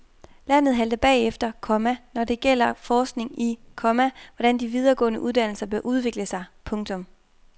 Landet halter bagefter, komma når det gælder forskning i, komma hvordan de videregående uddannelser bør udvikle sig. punktum